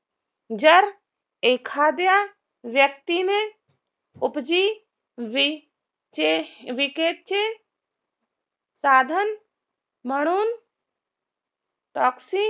जर एखाद्या व्यक्तीने उपजीविकेचे साधन म्हणून